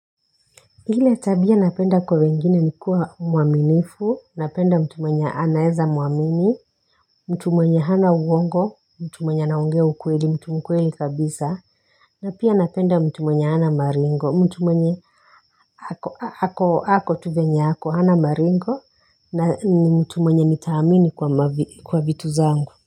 Ile tabia napenda kwa wengine ni kuwa mwaminifu, napenda mtu mwenye anaeza mwamini, mtu mwenye hana uongo, mtu mwenye anaongea ukweli, mtu mkweli kabisa na pia napenda mtu mwenye hana maringo, mtu mwenye ako tu venye ako hana maringo, na ni mtu mwenye nitaamini kwa vitu zangu.